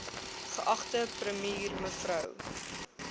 geagte premier mev